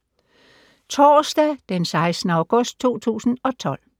Torsdag d. 16. august 2012